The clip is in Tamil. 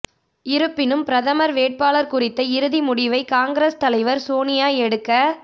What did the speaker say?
இருப்பினும் பிரதமர் வேட்பாளர் குறித்த இறுதி முடிவை காங்கிரஸ் தலைவர் சோனியா எடுக்க